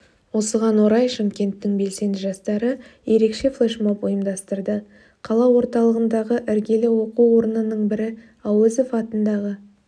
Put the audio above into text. осыған орай шымкенттің белсенді жастары ерекше флешмоб ұйымдастырды қала орталығындағы іргелі оқу орнының бірі әуезов атындағы